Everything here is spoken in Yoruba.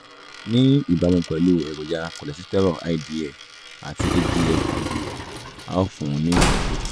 ní ìbámu pẹ̀lú èròjà kòlẹ́sítérò ldl àti hdl/ldl a ó fún un ní ìtọ́jú